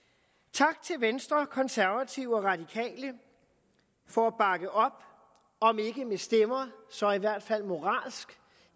tak til venstre konservative og radikale for at bakke op om ikke med stemmer så i hvert fald moralsk